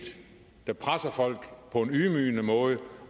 der presser folk på en ydmygende måde